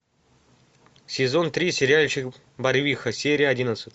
сезон три сериальчик барвиха серия одиннадцать